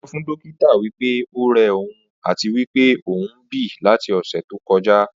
Ó sọ fún dókítà wí pé ó rẹ òun àti wí pé òún bí láti ọ̀sẹ̀ tó kọjá